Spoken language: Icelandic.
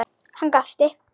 Hann gapti.